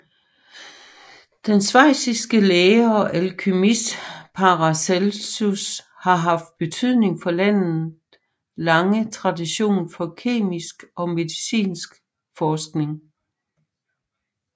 Den schweiziske læge og alkymist Paracelsus har haft betydning for landet lange tradition for kemisk og medicinsk forskning